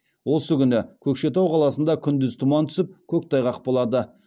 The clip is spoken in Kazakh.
осы күні көкшетау қаласында күндіз тұман түсіп көктайғақ болады